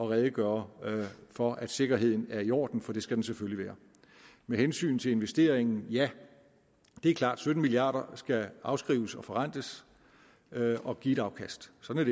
redegøre for at sikkerheden er i orden for det skal den selvfølgelig være med hensyn til investeringen ja det er klart sytten milliarder skal afskrives og forrentes og give et afkast sådan